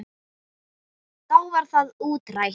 Þá var það útrætt.